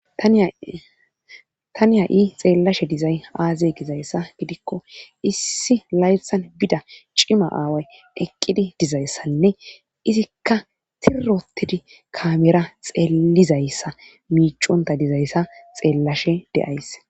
taniya7i xeellashe dizay aaze gizayssa gidikko issi layfsan bida cima aaway eqqidi dizayssanne izikka tirotidi kamera xeelizayssa miiconta dizayssa xeellashe de7ays